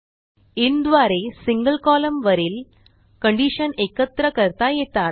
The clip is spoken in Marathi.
INद्वारे सिंगल columnवरील कंडिशन एकत्र करता येतात